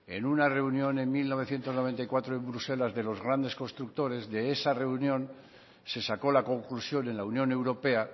en una reunión en mil novecientos noventa y cuatro en bruselas de los grandes constructores de esa reunión se sacó la conclusión en la unión europea